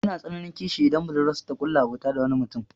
Yana tsananin kishi idan budurwarsa ta ƙulla abota da wani mutum.